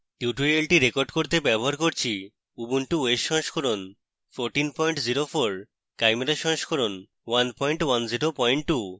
টিউটোরিয়ালটি রেকর্ড করতে ব্যবহার করছি উবুন্টু os সংস্করণ 1404 chimera সংস্করণ 1102